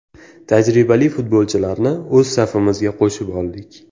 Tajribali futbolchilarni o‘z safimizga qo‘shib oldik.